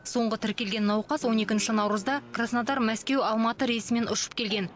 соңғы тіркелген науқас он екінші наурызда краснодар мәскеу алматы рейсімен ұшып келген